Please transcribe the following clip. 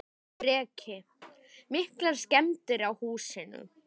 Breki: Miklar skemmdir á húsinu?